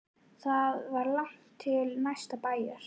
Það var langt til næsta bæjar.